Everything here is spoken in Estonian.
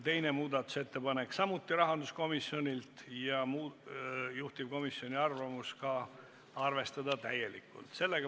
Teine muudatusettepanek on samuti rahanduskomisjonilt ja juhtivkomisjoni arvamus on ka arvestada täielikult.